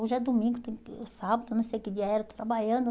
Hoje é domingo, tem sábado, não sei que dia era, estou trabalhando.